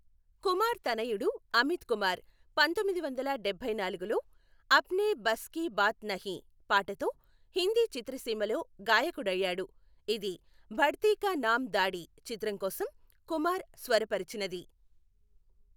కుమార్ తనయుడు అమిత్ కుమార్ పంతొమ్మిది వందల డభైనాలుగులో అప్నే బస్ కీ బాత్ నహీ పాటతో హిందీ చిత్రసీమలో గాయకుడయ్యాడు, ఇది బఢతీ కా నామ్ దాడీ చిత్రం కోసం కుమార్ స్వరపరిచినది.